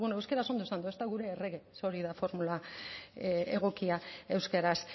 euskaraz ondo esan dut ez da gure errege ze hori da formula egokia euskaraz